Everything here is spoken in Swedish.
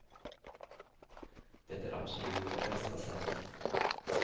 Det är absolut det bästa sättet.